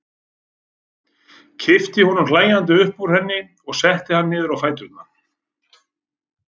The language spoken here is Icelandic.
Kippti honum hlæjandi upp úr henni og setti hann niður á fæturna.